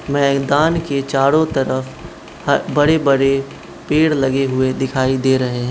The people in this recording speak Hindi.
मैदान के चारों तरफ ह बड़े बड़े पेड़ लगे हुए दिखाई दे रहे --